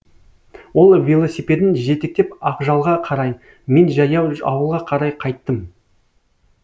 ол велосипедін жетектеп ақжалға қарай мен жаяу ауылға қарай қайттым